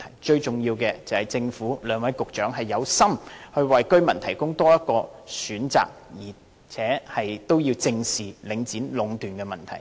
最重要的是政府和兩位局長有心為居民提供多一個選擇，並且正視領展壟斷的問題。